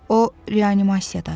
O reanimasiyadadır.